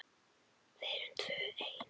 Við erum tvö ein.